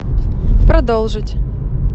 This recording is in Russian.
продолжить